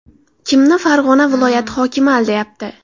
Kimni Farg‘ona viloyati hokimi aldayapti?